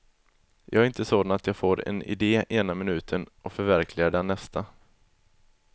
Jag är inte sådan att jag får en idé ena minuten och förverkligar den nästa.